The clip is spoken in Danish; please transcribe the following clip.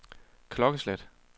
klokkeslæt